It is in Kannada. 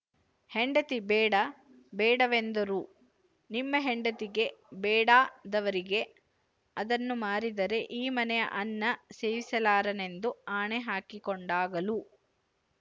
ಹೆಂಡತಿ ಬೇಡ ಬೇಡವೆಂದರೂನಿಮ್ಮ ಹೆಂಡತಿಗೆ ಬೇಡಾದವರಿಗೇಅದನ್ನು ಮಾರಿದರೆ ಈ ಮನೆಯ ಅನ್ನ ಸೇವಿಸಲಾರೆನೆಂದು ಆಣೆ ಹಾಕಿಕೊಂಡಾಗಲೂ